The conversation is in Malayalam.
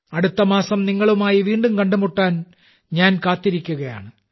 അടുത്ത മാസം നിങ്ങളുമായി വീണ്ടും കണ്ടുമുട്ടാൻ ഞാൻ കാത്തിരിക്കുകയാണ്